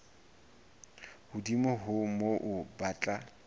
hodimo ho moo ba tla